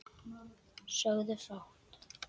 Sögðu fátt.